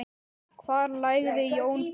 Hvar lagði Jón bílnum?